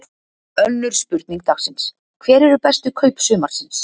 Önnur spurning dagsins: Hver eru bestu kaup sumarsins?